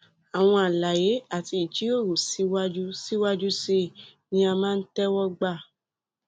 àwọn àlàyé àti ìjíròrò síwájú síwájú sí i ni a máa ń tẹwọ gbà